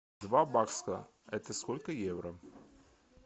два бакса это сколько евро